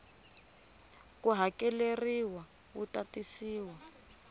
ku hakeleriwa wu ta tisiwa